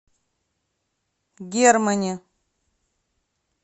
германе